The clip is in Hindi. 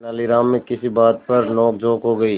तेनालीराम में किसी बात पर नोकझोंक हो गई